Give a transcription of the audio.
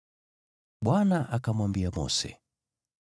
Bwana akamwambia Mose,